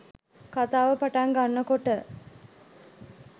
කතාව පටන් ගන්නකොට